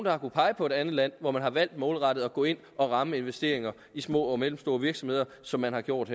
har kunnet pege på et andet land hvor man har valgt målrettet at gå ind og ramme investeringer i små og mellemstore virksomheder som man har gjort